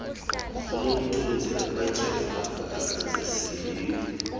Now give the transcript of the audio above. unomthunzi akatyhafanga akazisingeli